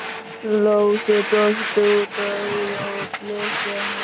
Lási brosti út að eyrum og blikkaði hana.